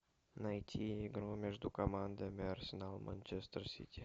найти игру между командами арсенал манчестер сити